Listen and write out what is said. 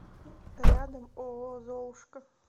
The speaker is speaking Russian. рядом ооо золушка